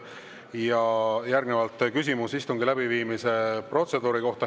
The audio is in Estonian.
Ja järgnevalt küsimus istungi läbiviimise protseduuri kohta.